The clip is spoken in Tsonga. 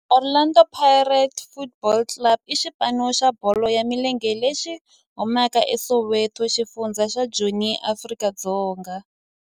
Orlando Pirates Football Club i xipano xa bolo ya milenge lexi humaka eSoweto, xifundzha xa Joni, Afrika-Dzonga.